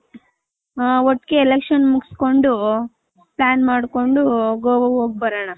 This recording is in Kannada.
ಹ ಒಟ್ಟಿಗೆ election ಮುಗ್ಸ್ಕೊಂಡು .plan ಮಾಡ್ಕೊಂಡು ಗೋವ ಅಗ್ ಹೋಗ್ ಬರೋಣ.